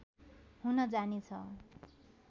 हुन जानेछ